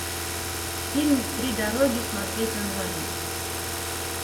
фильм три дороги смотреть онлайн